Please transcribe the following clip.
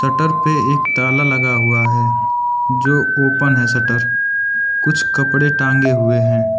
Shutter पर एक ताला लगा हुआ है जो ओपन है शटर कुछ कपड़े टांगे हुए हैं।